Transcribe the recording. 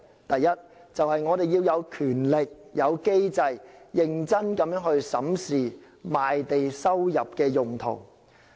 第一，就是我們要有權力、有機制，認真去審視賣地收入的用途。